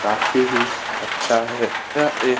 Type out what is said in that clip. काफी ही अच्छा है| यह एक --